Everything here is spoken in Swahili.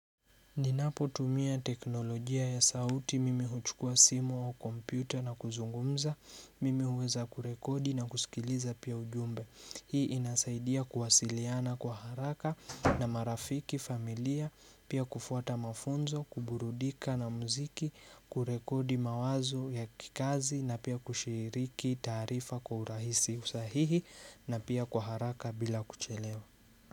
Ninapo tumia teknolojia ya sauti, mimi huchukua simu au kompyuta na kuzungumza, mimi huweza kurekodi na kusikiliza pia ujumbe. Hii inasaidia kuwasiliana kwa haraka na marafiki familia, pia kufuata mafunzo, kuburudika na muziki, kurekodi mawazo ya kikazi na pia kushiriki taarifa kwa urahisi usahihi na pia kwa haraka bila kuchelewa.